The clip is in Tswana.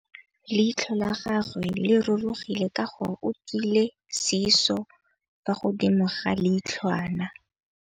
Leitlhô la gagwe le rurugile ka gore o tswile sisô fa godimo ga leitlhwana.